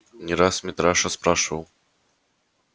не раз митраша спрашивал